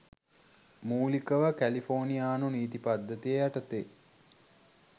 මූලිකව කැලිෆෝනියානු නීති පද්ධතිය යටතේ